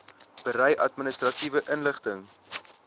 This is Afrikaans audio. berei administratiewe inligting